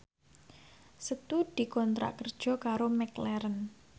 Setu dikontrak kerja karo McLarren